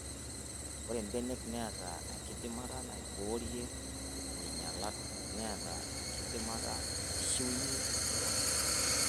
Ore mbenek neata enkidimata naiborie nkinyialat neata enkidimata naishiunyia keon.